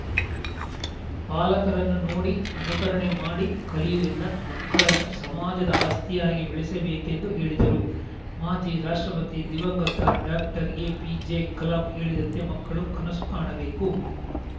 ಪಾಲಕರನ್ನು ನೋಡಿ ಅನುಕರಣೆ ಮಾಡಿ ಕಲಿಯುವುದರಿಂದ ಮಕ್ಕಳನ್ನು ಸಮಾಜದ ಆಸ್ತಿಯಾಗಿ ಬೆಳೆಸಬೇಕೆಂದು ಹೇಳಿದರು ಮಾಜಿ ರಾಷ್ಟ್ರಪತಿ ದಿವಂಗತ ಡಾಕ್ಟರ್ಎಪಿಜೆಕಲಾಂ ಹೇಳಿದಂತೆ ಮಕ್ಕಳು ಕನಸು ಕಾಣಬೇಕು